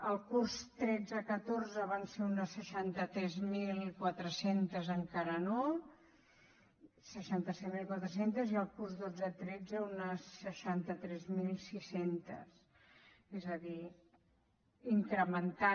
el curs tretze catorze van ser unes seixanta set mil quatre cents encara no i el curs dotze tretze unes seixanta tres mil sis cents és a dir s’han incrementat